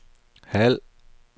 halv